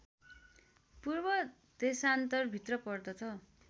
पूर्व देशान्तरभित्र पर्दछ